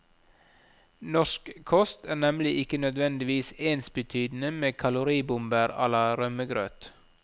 Norsk kost er nemlig ikke nødvendigvis ensbetydende med kaloribomber á la rømmegrøt.